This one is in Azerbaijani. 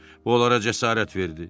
Bu onlara cəsarət verdi.